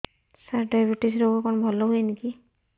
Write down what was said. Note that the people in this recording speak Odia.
ସାର ଡାଏବେଟିସ ରୋଗ କଣ ଭଲ ହୁଏନି କି